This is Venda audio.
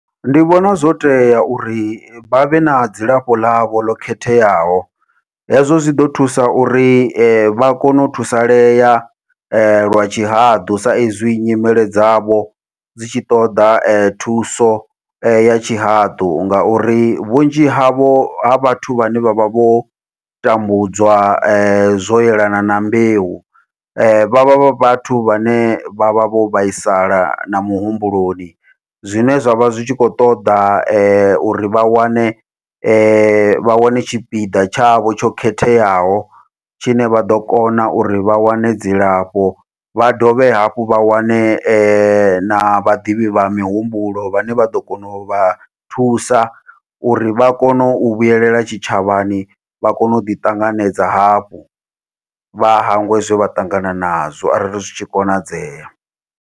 Ndi vhona zwo tea uri vhavhe na dzilafho ḽavho ḽo khetheaho, hezwo zwi ḓo thusa uri vha kone u thusalea lwa tshihaḓu sa izwi nyimele dzavho dzi tshi ṱoda thuso ya tshihaḓu, ngauri vhunzhi havho ha vhathu vhane vha vha vho tambudzwa zwo yelana na mbeu vhavha vha vhathu vhane vha vha vho vhaisala na muhumbuloni. Zwine zwavha zwi tshi kho ṱoḓa uri vha wane vha wane tshipiḓa tshavho tsho khetheaho, tshine vha ḓo kona uri vha wane dzilafho vha dovhe hafhu vha wane na vhaḓivhi vha mihumbulo vhane vha ḓo kona uvha thusa uri vha kone u vhuyelela tshitshavhani vha kone uḓi ṱanganedza hafhu vha hangwe zwe vha ṱangana nazwo arali zwi tshi konadzea.